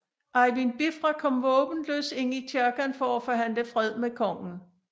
Eyvind Bifra kom våbenløs ind i kirken for at forhandle fred med kongen